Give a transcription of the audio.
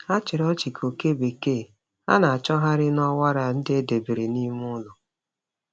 Ha chịrị ọchị ka oke bekee ha na-achọgharị n’ọwara ndị e debere n’ime ụlọ.